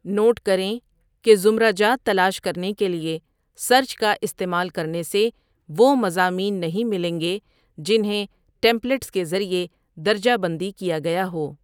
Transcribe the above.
Note کریں کہ زمرہ جات تلاش کرنے کے لیے سرچ کا استعمال کرنے سے وہ مضامین نہیں ملیں گے جنہیں ٹیمپلیٹس کے ذریعے درجہ بندی کیا گیا ہو۔